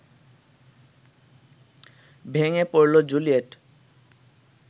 ভেঙে পড়ল জুলিয়েট